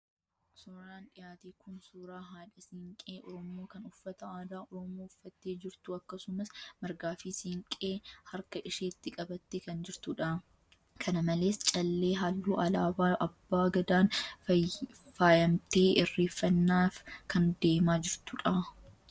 Suuraan dhiyaate kun, suuraa haadha siinqee Oromoo kan uffata aadaa Oromoo uffattee jirtuu akkasumas margaa fi siinqee harka isheetti qabattee kan jirtudha. Kana malees callee halluu alaabaa abbaa gadaan faayamtee Irreeffanaaf kan deemaa jirtudha.